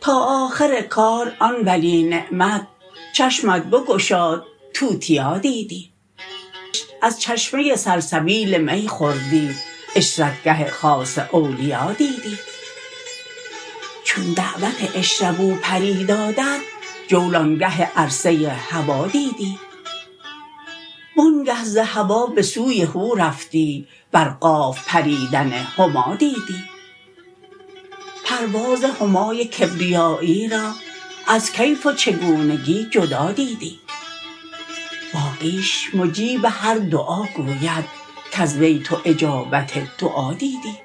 تا آخر کار آن ولی نعمت چشمت بگشاد توتیا دیدی از چشمه سلسبیل می خوردی عشرت گه خاص اولیا دیدی چون دعوت اشربوا پری دادت جولان گه عرصه هوا دیدی وآنگه ز هوا به سوی هو رفتی بر قاف پریدن هما دیدی پرواز همای کبریایی را از کیف و چگونگی جدا دیدی باقیش مجیب هر دعا گوید کز وی تو اجابت دعا دیدی